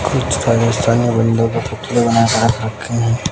कुछ राजस्थानी का पुतले बनाकर रख रखे हैं।